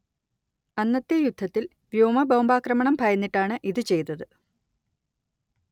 അന്നത്തെ യുദ്ധത്തിൽ വ്യോമ ബോംബാക്രമണം ഭയന്നിട്ടാണ് ഇത് ചെയ്തത്